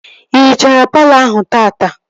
Ị hichara palọ ahụ taata?